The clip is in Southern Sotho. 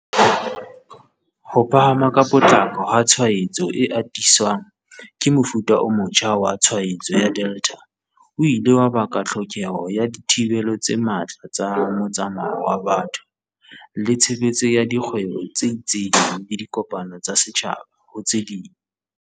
Ho phahama ka potlako ha tshwaetso e atiswang ke mofuta o motjha wa tshwaetso wa Delta o ile wa baka tlhokeho ya di thibelo tse matla tsa motsamao wa batho, le tshebetso ya di kgwebo tse itseng le dikopano tsa setjhaba, ho tse ding.